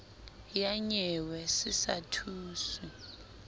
ya nyewe se sa thuswe